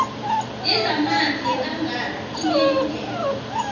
yezamanzi yekangala inelungelo